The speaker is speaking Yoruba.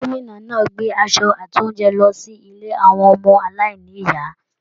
Gómìnà náà gbé aṣọ àti oúnjẹ lọ sí ilé àwọn ọmọ-aláìní-ìyá.